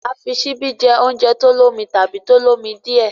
a fí Ṣíbí jé oúnjẹ olómi tàbí tó l'omi díẹ.